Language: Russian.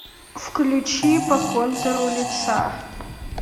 включи по контуру лица